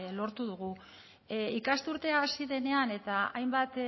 lortu dugu ikasturtea hasi denean eta hainbat